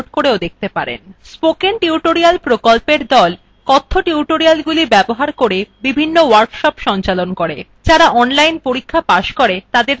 spoken tutorial প্রকল্পর দল কথ্য টিউটোরিয়ালগুলি ব্যবহার করে বিভিন্ন workshop সঞ্চালন করে